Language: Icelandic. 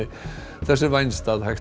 þess er vænst að hægt